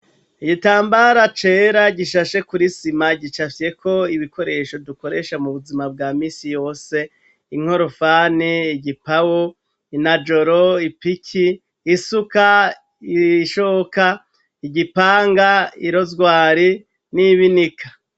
Igitambara cera gishashe kuri sima gicafyeko ibikoresho dukoresha mu buzima bwa misi yose, inkorofani, igipawa, inajoro, ipiki, isuka, ishoka, igipanga, irozwari n'ibinika.